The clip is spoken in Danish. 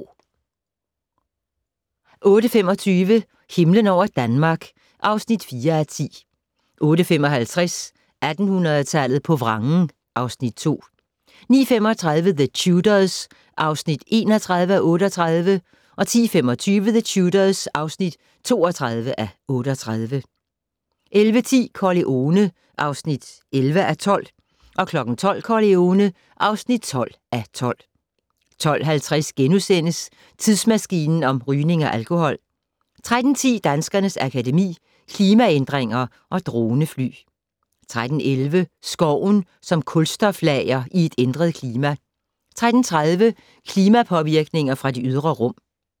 08:25: Himlen over Danmark (4:10) 08:55: 1800-tallet på vrangen (Afs. 2) 09:35: The Tudors (31:38) 10:25: The Tudors (32:38) 11:10: Corleone (11:12) 12:00: Corleone (12:12) 12:50: Tidsmaskinen om rygning og alkohol * 13:10: Danskernes Akademi: Klimaændringer & Dronefly 13:11: Skoven som kulstoflager i et ændret klima 13:30: Klimapåvirkninger fra det ydre rum